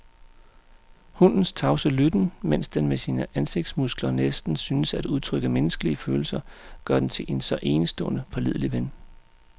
Hundens tavse lytten, mens den med sine ansigtsmuskler næsten synes at udtrykke menneskelige følelser, gør den til en så enestående pålidelig ven.